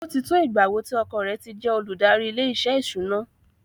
Ó ti tó ìgbà wo tí ọkọ rẹ̀ ti jẹ́ olùdarí ilé-iṣẹ́ ìṣúná?